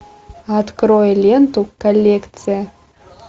открой ленту коллекция